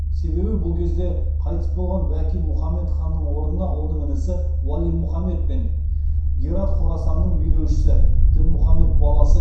себебі бұл кезде қайтыс болған бәки мұхаммед ханның орнына оның інісі уәли мұхаммед пен герат хорасанның билеушісі дінмұхаммед баласы